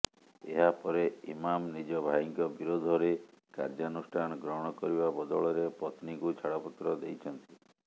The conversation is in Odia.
ଏହାପରେ ଇମାମ୍ ନିଜ ଭାଇଙ୍କ ବିରୋଧରେ କାର୍ଯ୍ୟାନୁଷ୍ଠାନ ଗ୍ରହଣ କରିବା ବଦଳରେ ପତ୍ନୀଙ୍କୁ ଛାଡ଼ପତ୍ର ଦେଇଛନ୍ତି